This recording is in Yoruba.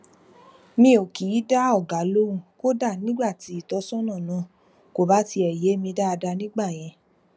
mi ò kì í dá ọga lóhùn kódà nígbà tí ìtósónà náà kò bá tiè yé mi dáadáa nígbà yẹn